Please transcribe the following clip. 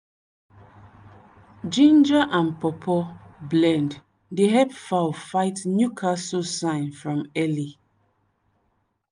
ginger and pawpaw blend dey help fowl fight newcastle sign from early.